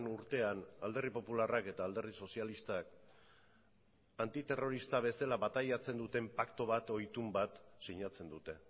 urtean alderdi popularrak eta alderdi sozialistak antiterrorista bezala bataiatzen duten paktu bat edo itun bat sinatzen dute